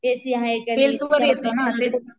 AC आहे का नाही